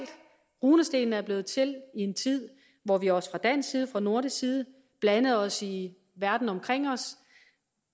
runestenene er blevet til i en tid hvor vi også fra dansk og nordisk side blandede os i verden omkring os